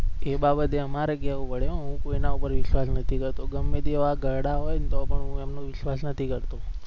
એ બાબતે અમારે કેવું પડે હું કોઈના પર વિસ્વાસ નથી કરતો ગમે તેવા ઘરડા હોય ન તો પણ હું એમનો વિશ્વાસ નથી કરતો.